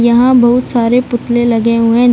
यहाँ बहुत सारे पुतले लगे हुएं --